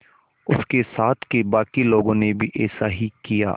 उसके साथ के बाकी लोगों ने भी ऐसा ही किया